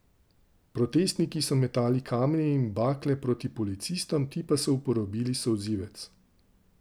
Protestniki so metali kamenje in bakle proti policistom, ti pa so uporabili solzivec.